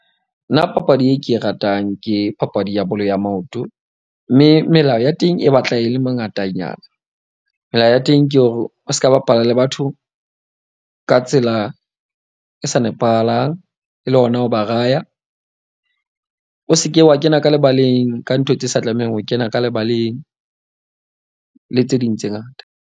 Nna papadi e ke e ratang. Ke papadi ya bolo ya maoto, mme e melao ya teng e batla e le mengatanyana. Melao ya teng ke hore o ska bapala le batho ka tsela e sa nepahalang. E le yona, ho ba raya. O seke wa kena ka lebaleng ka ntho tse sa tlamehang ho kena ka lebaleng le tse ding tse ngata.